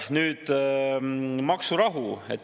Nüüd, maksurahu.